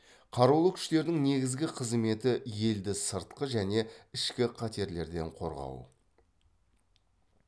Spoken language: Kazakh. қарулы күштердің негізгі қызметі елді сыртқы және ішкі қатерлерден қорғау